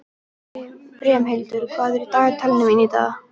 Brimhildur, hvað er í dagatalinu mínu í dag?